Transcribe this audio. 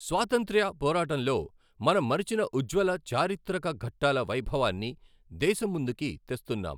స్వాతంత్య్ర పోరాటంలో మనం మరిచిన ఉజ్వల చారిత్రక ఘట్టాల వైభవాన్ని దేశం ముందుకి తెస్తున్నాం.